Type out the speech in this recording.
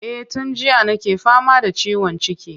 Eh tun jiya nake fama da ciwon ciki.